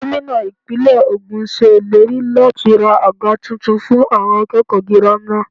Gómìnà Ìpínlẹ̀ ogún ṣe ìlérí láti ra àga tuntun fún àwọn akẹ́kọ̀ọ́ girama.